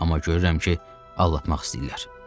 Amma görürəm ki, aldatmaq istəyirlər.